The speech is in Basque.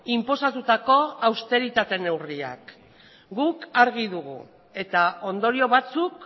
inposatutako austeritate neurriak guk argi dugu eta ondorio batzuk